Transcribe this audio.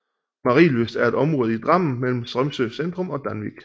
Marienlyst er et område i Drammen mellem Strømsø centrum og Danvik